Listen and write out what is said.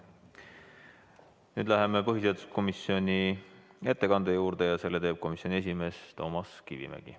Nüüd läheme põhiseaduskomisjoni ettekande juurde ja selle teeb komisjoni esimees Toomas Kivimägi.